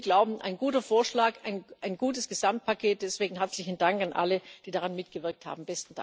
Wir glauben ein guter Vorschlag, ein gutes Gesamtpaket, deswegen herzlichen Dank an alle, die daran mitgewirkt haben.